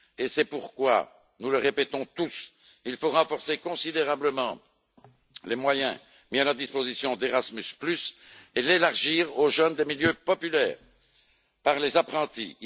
C'est pourquoi, nous le répétons tous, il faut renforcer considérablement les moyens mis à la disposition d'Erasmus et l'élargir aux jeunes des milieux populaires par les apprentis.